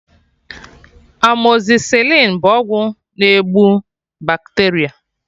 Amọzịsịlịn bụ ọgwụ na-egbu bakteria